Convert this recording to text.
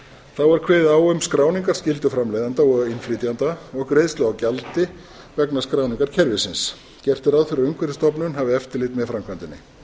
þá er kveðið á um skráningarskyldu framleiðenda og innflytjenda og greiðslu á gjaldi vegna skráningarkerfisins gert er ráð fyrir að umhverfisstofnun hafi eftirlit með framkvæmdinni